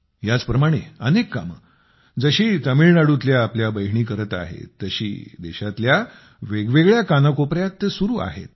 याच प्रमाणे अनेक कामे जशी तामिळनाडूतल्या आपल्या बहिणी करत आहेत तशी देशातल्या वेगवेगळ्या कानाकोपऱ्यात चालू आहेत